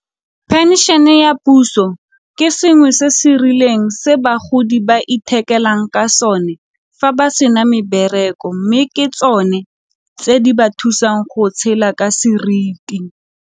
Phenšene ya puso e ya puso ke sengwe se se rileng se bagodi ba ithekelang ka sone fa ba se na mebereko mme ke tsone tse di ba thusang go tshela ka seriti.